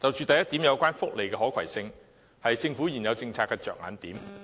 第一點有關福利的可攜性，是政府現有政策的着眼點。